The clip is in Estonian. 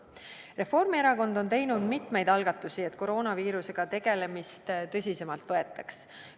Reformierakond on teinud mitmeid algatusi, et koroonaviirusega tegelemist tõsisemalt võetaks.